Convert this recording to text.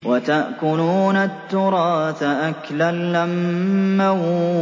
وَتَأْكُلُونَ التُّرَاثَ أَكْلًا لَّمًّا